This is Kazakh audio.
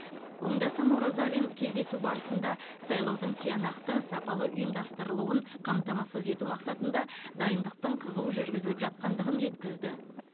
оңдасын оразалин кездесу барысында сайлаудың тиянақты сапалы ұйымдастырылуын қамтамасыз ету мақсатында дайындықтың қызу жүргізіліп жатқандығын жеткізді